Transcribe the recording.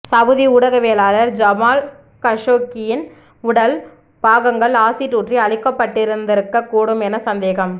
Saudi ஊடகவியலாளர் Jamal கஷோக்கியின் உடல் பாகங்கள் அசிட் ஊற்றி அழிக்கப்பட்டிருக்கக் கூடும் என சந்தேகம